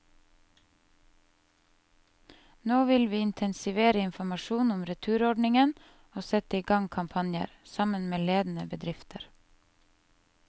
Nå vil vi intensivere informasjonen om returordningen og sette i gang kampanjer, sammen med ledende bedrifter.